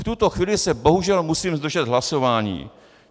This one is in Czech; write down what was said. V tuto chvíli se bohužel musím zdržet hlasování.